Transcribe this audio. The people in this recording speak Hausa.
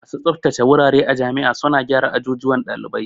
Masu tsabtace wurare a jami'a suna gyara ajujuwan ɗalibai